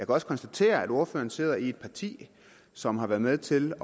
også konstatere at ordføreren sidder i et parti som har været med til